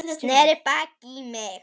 Sneri baki í mig.